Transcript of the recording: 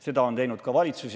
Seda on teinud ka valitsus.